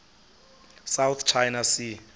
south china sea